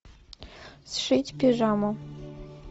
сшить пижаму